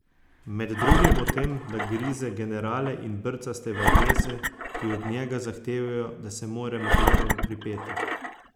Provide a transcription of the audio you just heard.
Med drugim o tem, da grize generale in brca stevardese, ki od njega zahtevajo, da se mora med letom pripeti.